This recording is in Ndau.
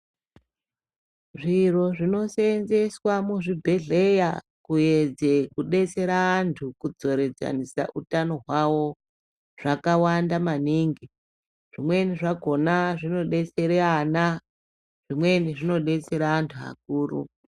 Zviro zvino seenzeswa muzvibhehlera kuedze kudetsera vantu kudzororedzanisa utano hwavo zvakawanda maningi zvimweni zvakona zvinodetsera vana zvimweni zvinodetsere vantu vakuru.